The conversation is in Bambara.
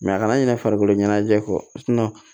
a kana ɲinɛ farikolo ɲɛnajɛ kɔ